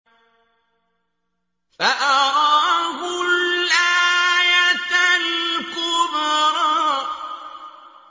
فَأَرَاهُ الْآيَةَ الْكُبْرَىٰ